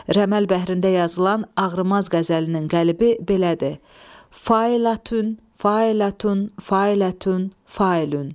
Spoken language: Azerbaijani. Rəməl bəhrində yazılan ağrımaz qəzəlinin qəlibi belədir: Fəlatün, fəlatün, fəlatün, fəlun.